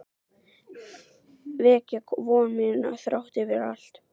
Vekja von mína þrátt fyrir allt.